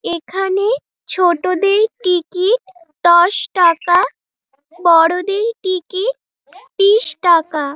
এখানে ছোটদের টিকিট দশ টাকা বড়দিন টিকিট বিস টাকা।